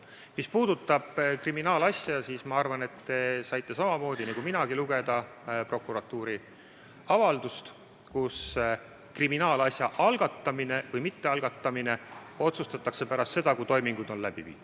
Mis puudutab kriminaalasja, siis ma arvan, et te saite samamoodi nagu minagi lugeda prokuratuuri avaldust, et kriminaalasja algatamine või mittealgatamine otsustatakse pärast seda, kui toimingud on läbi viidud.